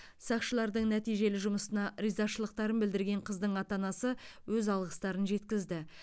сақшылардың нәтижелі жұмысына ризашылықтарын білдірген қыздың ата анасы өз алғыстарын жеткізді